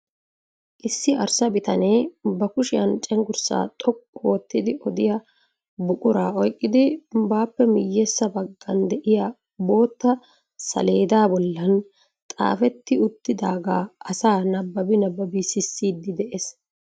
Issi arssa bitanee ba kushiyaan cenggurssaa xoqqu oottidi odiyaa buquraa oyqqidi bappe miyyeessa baggan de'iyaa bootta saleedaa bollan kaafeti uttidaaga asaa nabbabi nabbabi sissiidi de'ees.